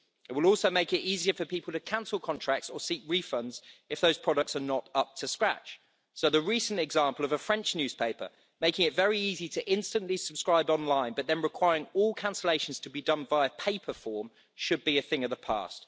It will also make it easier for people to cancel contracts or seek refunds if those products are not up to scratch, so the recent example of a French newspaper making it very easy to instantly subscribe online but then requiring all cancellations to be done by a paper form should be a thing of the past.